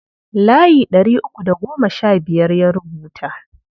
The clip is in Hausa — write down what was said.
Layi ɗari uku da goma sha biyar ya rubuta.